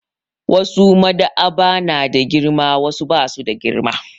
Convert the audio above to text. Wasu Maɗ'aba'a na da girma wasu ba su da girma.